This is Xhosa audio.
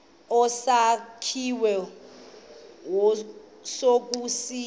esakhiwe kuso siyafana